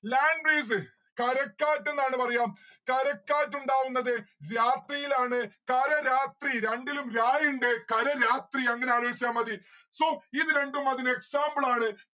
land breeze കരക്കാറ്റെന്നാണ് പറയാ. കരക്കാറ്റുണ്ടാവുന്നത് രാത്രിയിലാണ്. കര രാത്രി രണ്ടിലും രാ ഇണ്ട് കര രാത്രി അങ്ങനെ ആലോജിച്ച മതി so ഇത് രണ്ടും അതിന് example ആണ്.